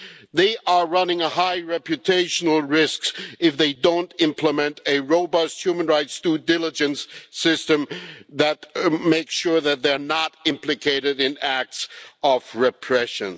They are running a high reputational risks if they don't implement a robust human rights due diligence system that makes sure that they're not implicated in acts of repression.